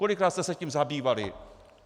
Kolikrát jste se tím zabývali?